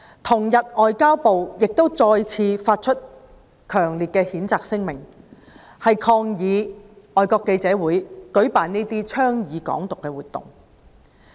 同日，外交部再次發出強烈的譴責聲明，抗議外國記者會舉辦這項倡導"港獨"的活動。